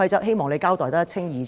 希望你交代得一清二楚。